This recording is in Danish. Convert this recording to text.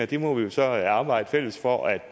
det må vi jo så arbejde fælles for at